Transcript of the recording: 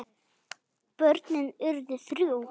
Börnin urðu þrjú.